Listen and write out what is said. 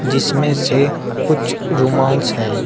जिसमें से कुछ रूमाल्स हैं।